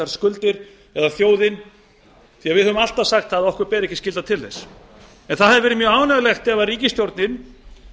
skuldir eða þjóðin því við höfum alltaf sagt að okkur beri ekki skylda til þess en það hefði verið mjög ánægjulegt ef ríkisstjórnin